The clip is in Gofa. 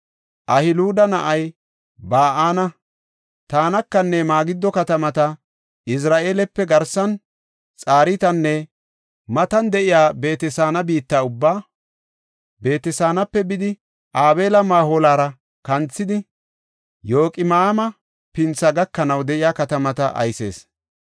Ahiluda na7ay Ba7ana, Tanakanne Magido katamata, Izira7eelepe garsan Xartaana matan de7iya Beet-Saana biitta ubbaa, Beet-Saanape bidi Abeel-Maholara kanthidi, Yoqima7aama pinthi gakanaw de7iya katamata aysees.